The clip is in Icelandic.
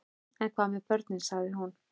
En hvað með börnin, sagði hún.